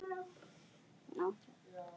Nú átti